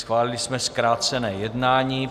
Schválili jsme zkrácené jednání.